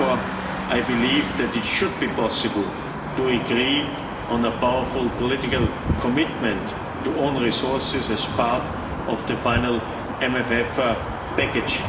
Therefore, I believe that it should be possible to agree on a powerful political commitment to own resources as part of the final MFF package.